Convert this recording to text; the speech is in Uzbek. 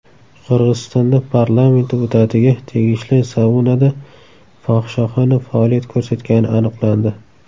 Qirg‘izistonda parlament deputatiga tegishli saunada fohishaxona faoliyat ko‘rsatgani aniqlandi.